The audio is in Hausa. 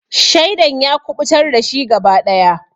Shaidan ya kuɓutar dashi gaba daya.